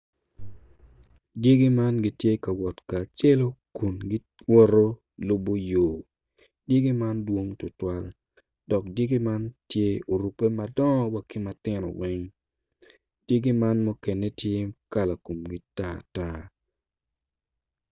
Dyagi man gitye ka wot kacelo kun giwoto lubo yo dyegi man dwong tutwal dok dyegi man ttye orubbe madongo wa ki matino weng dyegi man mukene tye kala komgi tartar.